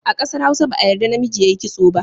A ƙasar Hausa ba a yadda namiji ya yi kitso ba.